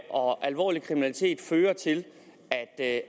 og at alvorlig kriminalitet fører til at